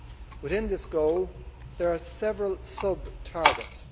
Within this goal, there are several sub targets.